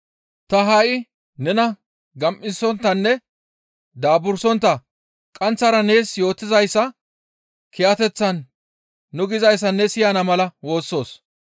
Ta ha7i nena gam7isonttanne daaburssontta qaanththara nees yootizayssa kiyateththan nu gizayssa ne siyana mala woossoos.